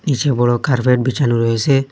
নীচে বড়ো কার্পেট বেছানো রয়েসে।